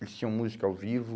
Eles tinham música ao vivo.